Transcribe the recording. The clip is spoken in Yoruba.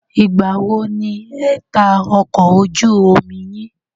Ìgbà wo ni ẹ ta ọkọ̀ ojú omi yín?